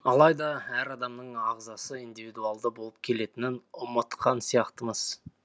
алайда әр адамның ағзасы индивидуалды болып келетінін ұмытқан сияқтымыз